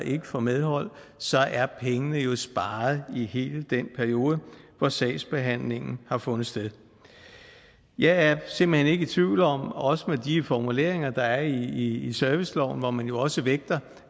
ikke får medhold så er pengene jo sparet i hele den periode hvor sagsbehandlingen har fundet sted jeg er simpelt i tvivl om også med de formuleringer der er i i serviceloven hvor man jo også vægter